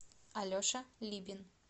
алеша либин